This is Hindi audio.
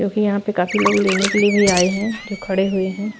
जो कि यहां पे काफी लोग लेने के लिए भी आय है खड़े हुए हैं।